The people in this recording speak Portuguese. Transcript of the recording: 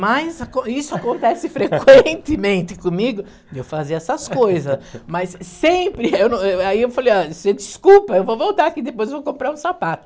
Mas aco isso acontece frequentemente comigo, de eu fazer essas coisas, mas sempre, eh eh eh aí eu falei, você desculpa, eu vou voltar aqui depois, vou comprar um sapato.